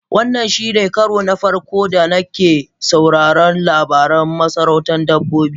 Wannan shine karo na farko da nake sauraron labarin masarautar dabbobi.